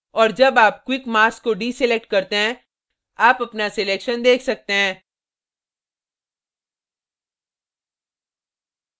और जब आप quick mask को deselect करते हैं आप अपना selection देख सकते हैं